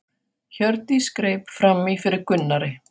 Hjördís greip fram í fyrir Gunnari.